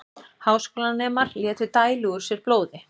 Háskólanemar létu dæla úr sér blóði